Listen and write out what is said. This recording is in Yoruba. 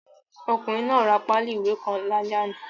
Ọkùnrin náà ra páálì ìwé kan lálẹ́ àná.